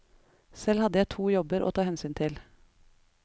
Selv hadde jeg to jobber å ta hensyn til.